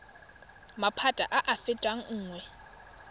maphata a a fetang nngwe